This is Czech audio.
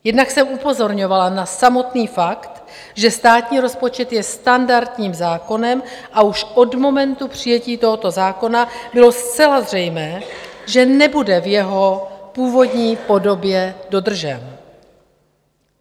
Jednak jsem upozorňovala na samotný fakt, že státní rozpočet je standardním zákonem, a už od momentu přijetí tohoto zákona bylo zcela zřejmé, že nebude v jeho původní podobě dodržen.